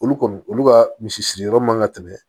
Olu kɔni olu ka misi siri yɔrɔ man ka tɛmɛ